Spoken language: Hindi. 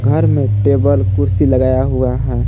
घर में टेबल कुर्सी लगाया हुआ है।